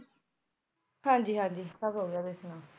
ਹਾਂਜੀ ਹਾਂਜੀ ਸਭ ਹੋ ਗਿਆ ਤੁਸੀ ਸੁਣਾਓ